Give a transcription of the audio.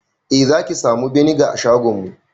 Eh zaki samu beniga a shagonmu